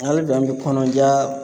Hali bi an bɛ kɔnɔja